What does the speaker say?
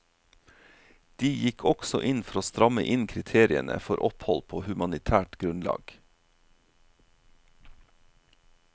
De gikk også inn for å stramme inn kriteriene for opphold på humanitært grunnlag.